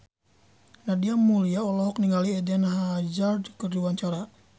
Nadia Mulya olohok ningali Eden Hazard keur diwawancara